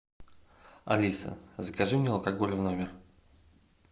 алиса закажи мне алкоголь в номер